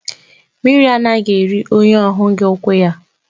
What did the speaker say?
Mmiri anaghị eri onye ọ hụghị ukwu ya.